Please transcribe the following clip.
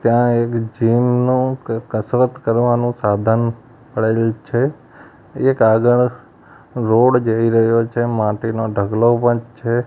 ત્યાં એક જીમ નું ક-કસરત કરવાનું સાધન પડેલ છે એક આગળ રોડ જઈ રહ્યો છે માટીનો ઢગલો પણ છે.